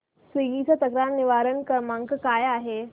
Swiggy चा तक्रार निवारण क्रमांक काय आहे